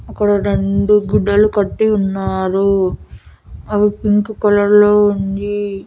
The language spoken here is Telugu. అక్కడ రెండు గుడ్డలు కట్టి ఉన్నారు అవి పింక్ కలర్ లో ఉంది.